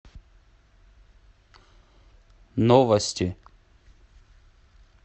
новости